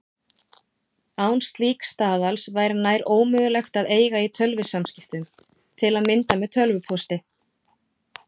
Án slíks staðals væri nær ómögulegt að eiga í tölvusamskiptum, til að mynda með tölvupósti.